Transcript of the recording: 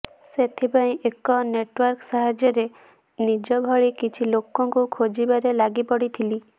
ସେଥିପାଇଁ ଏକ ନେଟୱର୍କ ସାହାର୍ଯ୍ୟରେ ନିଜ ଭଳି କିଛି ଲୋକଙ୍କୁ ଖୋଜିବାରେ ଲାଗିପଡିଥିଲି